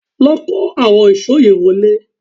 Lọ kó àwọn ìṣó yẹn wọlé